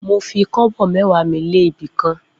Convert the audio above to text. Mo fi kobo mẹ́wàá mi lé ibi kan.